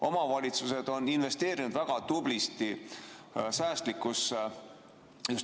Omavalitsused on investeerinud väga tublisti säästlikkusse.